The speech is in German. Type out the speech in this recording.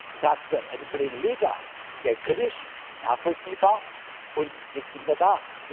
ich sage es aber dem Kollegen Lega sehr kritisch, nachvollziehbar und jetzt nicht mehr da.